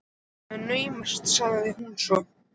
Það er naumast sagði hún svo.